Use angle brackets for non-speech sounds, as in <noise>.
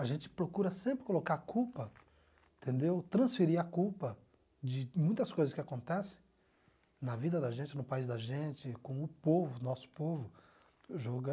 A gente procura sempre colocar a culpa, entendeu, transferir a culpa de muitas coisas que acontecem na vida da gente, no país da gente, com o povo, nosso povo <unintelligible>